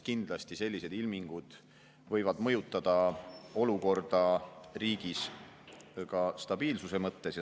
Kindlasti võivad sellised ilmingud mõjutada olukorda riigis ka stabiilsuse mõttes.